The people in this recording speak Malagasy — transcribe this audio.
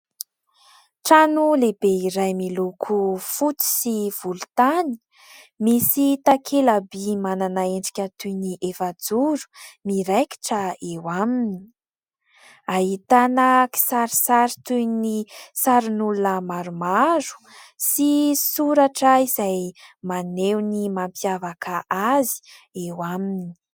Trano lehibe iray miloko fotsy sy volontany. Misy takela-by manana endrika toy ny efajoro miraikitra eo aminy. Ahitana kisarisary toy ny sarin'olona maromaro sy soratra izay maneho ny mampiavaka azy eo aminy.